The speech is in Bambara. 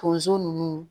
Tonso nunnu